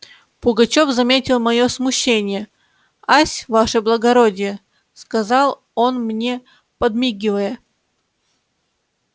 пугачёв заметил моё смущение ась ваше благородие сказал он мне подмигивая